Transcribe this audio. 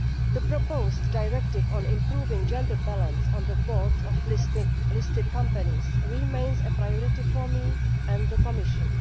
The proposed directive on improving gender balance on the boards of listed companies remains a priority for me and for the Commission.